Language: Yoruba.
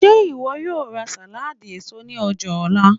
Ṣe iwọ yóò ra saladi eso ni ọja nla?